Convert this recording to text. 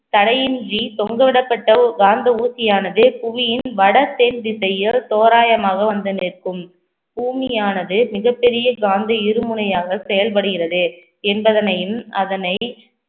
தடையின்றி தொங்கவிடப்பட்ட ஒரு காந்த ஊசியானது புவியின் வடத் தென் திசையோ தோராயமாக வந்து நிற்கும் பூமியானது மிகப் பெரிய காந்த இருமுனையாக செயல்படுகிறது என்பதனையும் அதனை